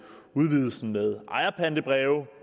udvidelsen med ejerpantebreve